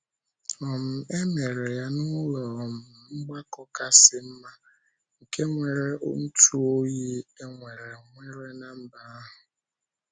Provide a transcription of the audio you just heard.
um E mere ya n’ụlọ um mgbakọ kasị um mma, nke nwere ntụoyi e nwere nwere ná mba ahụ.